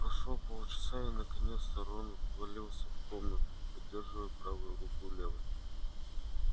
прошло полчаса и наконец рон ввалился в комнату поддерживая правую руку левой